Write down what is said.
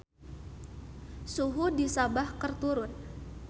Suhu di Sabah keur turun